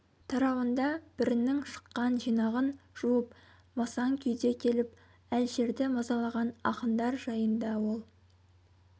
тарауында бірінің шыққан жинағын жуып масаң күйде келіп әлішерді мазалаған ақындар жайында ол